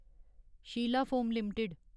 Sheila foam limited